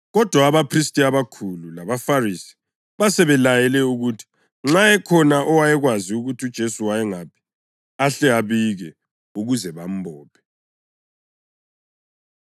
Kodwa abaphristi abakhulu labaFarisi basebelayele ukuthi nxa ekhona owayekwazi ukuthi uJesu wayengaphi, ahle abike ukuze bambophe.